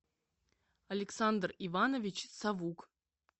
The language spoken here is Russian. александр иванович савук